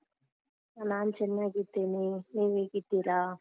ನಾನ್ ಚೆನ್ನಾಗಿದ್ದೇನೆ ನೀವ್ ಹೇಗಿದ್ದೀರಾ?